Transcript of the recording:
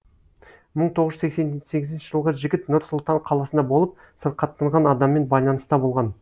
мың тоғыз жүз сексен сегізінші жылғы жігіт нұр сұлтан қаласында болып сырқаттанған адаммен байланыста болған